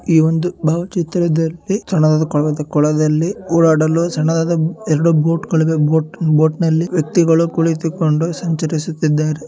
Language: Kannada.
ಈ ಒಂದು ಭಾವಚಿತ್ರದಲ್ಲಿ ಕೊಳದಲ್ಲಿ ಓಡಾಡಲು ಸಣ್ಣದಾದ ಎರಡು ಬೋಟ್ ಗಳಿವೆ ಬೋಟ್ನ ಲ್ಲಿ ವ್ಯಕ್ತಿಗಳು ಕುಳಿತುಕೊಂಡು ಸಂಚರಿಸುತ್ತಿದ್ದಾರೆ.